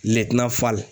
Lɛdina falen